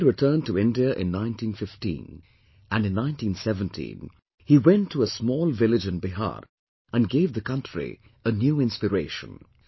Gandhi returned to India in 1915, and in 1917, he went to a small village in Bihar and gave the country a new inspiration